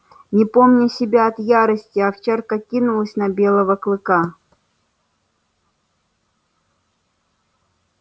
не помня себя от ярости овчарка кинулась на белого клыка